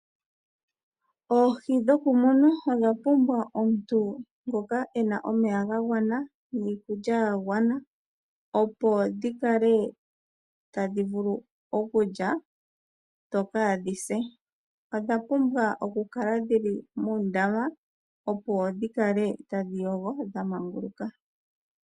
Oohi dhokumuna odhapumbwa omuntu ngoka ena omeya gagwana niikulya yagwana opo dhikale tadhivulu okulya dho kaadhise . Odhapumbwa okukala dhili muundama opo dhikale tadhi yogo dha manguluka.